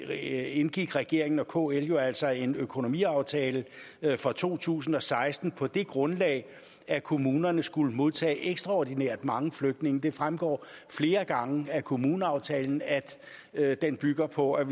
det andet indgik regeringen og kl jo altså en økonomiaftale for to tusind og seksten på det grundlag at kommunerne skulle modtage ekstraordinært mange flygtninge det fremgår flere gange af kommuneaftalen at den bygger på at